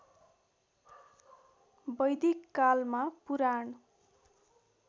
वैदिक कालमा पुराण